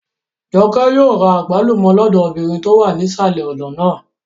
Jọkẹ́ yóò ra àgbálùmọ́ lọ́dọ̀ obìnrin tó wà nísàlẹ̀ ọ̀nà náà